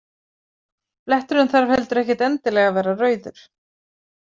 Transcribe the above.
Bletturinn þarf heldur ekkert endilega að vera rauður.